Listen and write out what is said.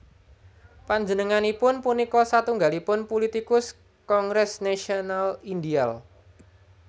Panjenenganipun punika satunggalipun pulitikus Kongres Nasional Indial